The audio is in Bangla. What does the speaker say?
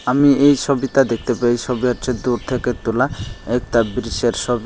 আমি এই সোবিতা দেখতে পাই এই সোবি হচ্ছে দূর থেকে তোলা একতা ব্রিচের ছবি।